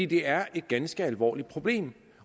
det er et ganske alvorligt problem